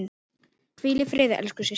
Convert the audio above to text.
Hvíl í friði, elsku systir.